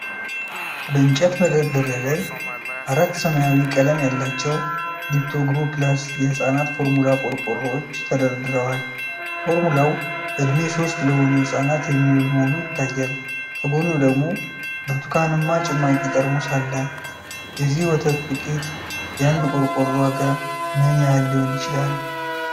በእንጨት መደርደሪያ ላይ አራት ሰማያዊ ቀለም ያላቸው "ሊፕቶግሮው ፕላስ" የሕፃናት ፎርሙላ ቆርቆሮዎች ተደርድረዋል። ፎርሙላው ዕድሜ 3 ለሆኑ ሕፃናት የሚውል መሆኑ ይታያል፤ ከጎኑ ደግሞ ብርቱካንማ ጭማቂ ጠርሙስ አለ። ዚህ ወተት ዱቄት የአንድ ቆርቆሮ ዋጋ ምን ያህል ሊሆን ይችላል?